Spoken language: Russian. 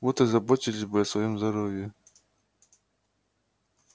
вот и заботились бы о своём здоровье